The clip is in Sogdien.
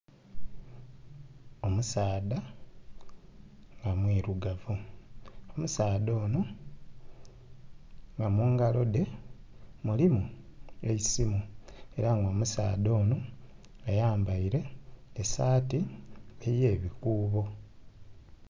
Omusaadha omwiirugavu, omusaadha ono nga mungalo dhe mulimu eisimu era nga omusaadha ono ayambaire esaati eye bikuboo.